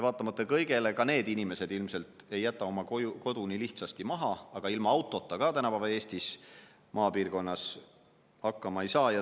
Vaatamata kõigele ei jäta ka need inimesed oma kodu ilmselt nii lihtsasti maha, aga ilma autota tänapäeva Eestis maapiirkonnas hakkama ei saa.